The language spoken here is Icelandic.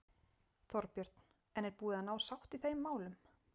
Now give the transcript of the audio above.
Þorbjörn: En er búið að ná sátt í þeim málum?